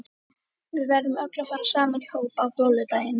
Við verðum öll að fara saman í hóp á bolludaginn.